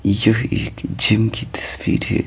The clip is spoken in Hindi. यह एक जिम की तस्वीर है।